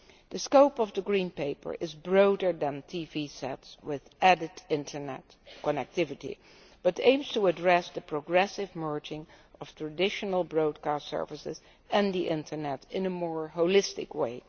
The scope of the Green Paper is broader than TV sets with added internet connectivity and aims to address the progressive merging of traditional broadcast services and the internet in a more holistic way.